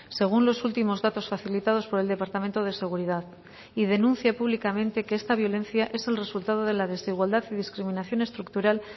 según los últimos datos facilitados por el departamento de seguridad y denuncia públicamente que esta violencia es el resultado de la desigualdad y discriminación estructural